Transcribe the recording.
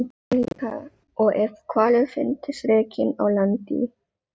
Svona álíka og ef hvalur fyndist rekinn á land í